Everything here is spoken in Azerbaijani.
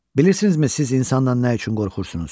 Bilirsinizmi siz insandan nə üçün qorxursunuz?